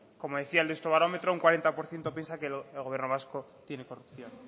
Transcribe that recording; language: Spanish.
como decía el deusto barómetro un cuarenta por ciento piensa que el gobierno vasco tiene corrupción